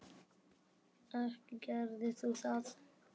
Ekki gerir þú það!